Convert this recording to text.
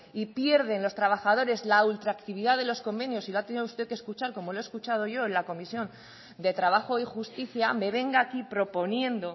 y pierden los trabajadoras la ultraactividad de los convenios y lo ha tenido usted que escuchar como lo he escuchado yo en la comisión de trabajo y justicia me venga aquí proponiendo